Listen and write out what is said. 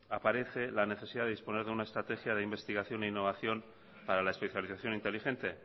aparece la necesidad de disponer de una estrategia de investigación e innovación para la especialización inteligente